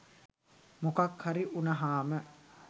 මොකක් හරි උනහාම